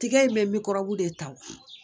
Tigɛ in bɛ mikɔrɔbu de ta